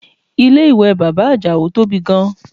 Ilé ìwẹ̀ bàbá Àjàó tóbi gan